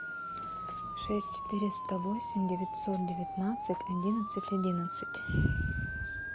шесть четыреста восемь девятьсот девятнадцать одиннадцать одиннадцать